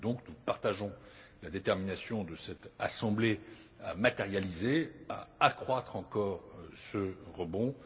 Nous partageons donc la détermination de cette Assemblée à matérialiser, à accroître encore ce rebond.